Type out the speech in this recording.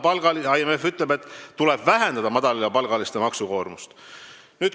Aga IMF ütleb, et tuleb vähendada madalapalgaliste maksukoormust.